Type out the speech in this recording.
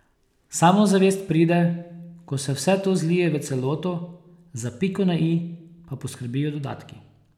Samozavest pride, ko se vse to zlije v celoto, za piko na i pa poskrbijo dodatki.